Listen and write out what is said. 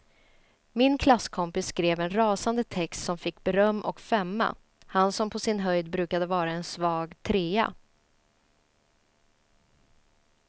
Min klasskompis skrev en rasande text som fick beröm och femma, han som på sin höjd brukade vara en svag trea.